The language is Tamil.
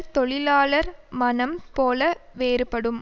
தொழிலாளர் மனம் போல வேறுபடும்